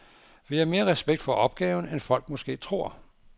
Vi har mere respekt for opgaven, end folk måske tror.